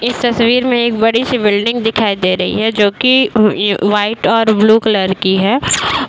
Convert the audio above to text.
इस तस्वीर में एक बड़ी सी बिल्डिंग दिखाई दे रही है जो की वाइट और ब्लू कलर की है।